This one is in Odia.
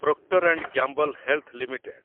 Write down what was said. proctor and Gamble health limited